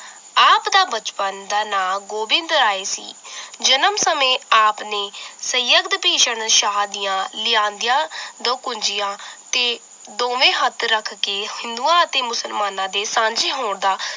ਆਪ ਦਾ ਬਚਪਨ ਦਾ ਨਾਂ ਗੋਬਿੰਦ ਰਾਏ ਸੀ l ਜਨਮ ਸਮੇਂ ਆਪ ਨੇ ਸੰਯਗਦ ਭੀਸ਼ਨ ਸ਼ਾਹ ਦੀਆਂ ਲਿਆਂਦੀਆਂ ਦਕੁਨਜੀਆਂ ਤੇ ਦੋਵੇਂ ਹੱਥ ਰੱਖ ਕੇ ਹਿੰਦੂਆਂ ਅਤੇ ਮੁਸਲਮਾਨਾਂ ਦੇ ਸਾਂਝੇ ਹੋਣ ਦਾ